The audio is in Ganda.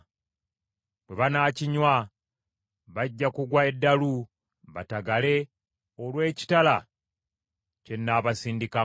Bwe banaakinywa, bajja kugwa eddalu batagale olw’ekitala kye nnaabasindikamu.”